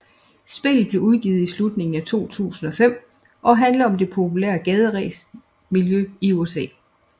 Spillet blev udgivet i slutningen af 2005 og handler om det populære gaderæs miljø i USA